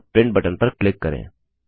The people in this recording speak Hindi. अब प्रिंट बटन पर क्लिक करें